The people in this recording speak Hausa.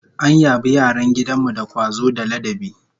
An yabi yaran gidan mu da kwazo da ladabi